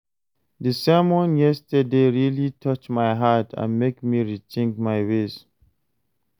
Di sermon yesterday really touch my heart and make me rethink my ways.